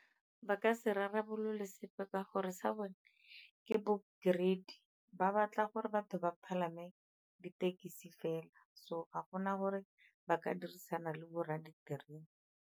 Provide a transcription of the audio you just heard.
Ba ka se rarabolole sepe ka gore sa bone ke bo greedy, ba batla gore batho ba palame ditekesi fela, so ga gona gore ba ka dirisana le bo rra di-greedy.